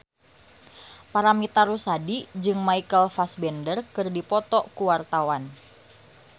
Paramitha Rusady jeung Michael Fassbender keur dipoto ku wartawan